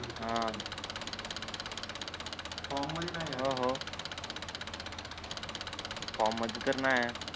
हा फॉम मध्ये नाहीये फॉम मध्ये तर नाहीये